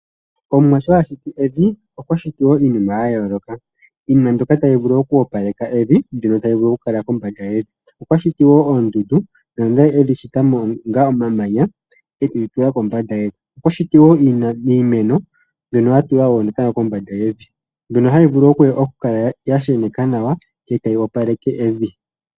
Omuwa sho ashiti nevi, okwa shiti wo iinima ya yooloka , iinima mbyoka tayi vulu oku wapaleka evi, mbyono tayi vulu oku kala mombanda yevi. Okwa shiti wo oondundu dhono edhi shita ngaa momamanya ete dhi tula kombanda yevi, okwa shiti wo iimeno mbyono atula natango kombanda yevi mbyono hayi vulu oku kala ya sheneka nawa eta yi opaleke evi.